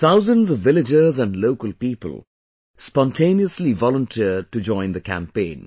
Thousands of villagers and local people spontaneously volunteered to join this campaign